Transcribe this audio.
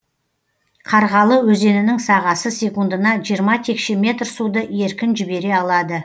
қарғалы өзенінің сағасы секундына жиырма текше метр суды еркін жібере алады